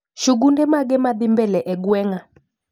Shugunde mage madhii mbele e gweng'a